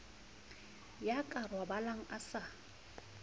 ya ka robalang a sa